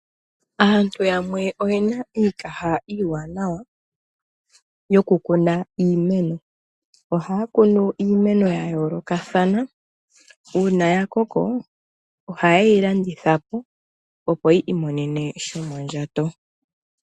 Aantu yamwe oye na iikaha iiwanawa yokukuna iimeno. Ohaya kunu iimeno ya yoolokathana. Uuna ya koko ohaye yi landitha po, opo yi imonene shomondjato.